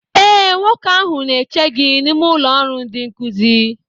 ee, nwoke ahụ na-eche gị n'ime ụlọ ọrụ ndịnkuzi